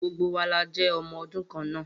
Gbogbo wa la jé ọmọ ọdún kan náà